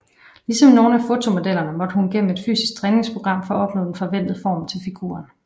Ligesom nogle af fotomodellerne måtte hun gennem et fysisk træningsprogram for at opnå den forventede form til figuren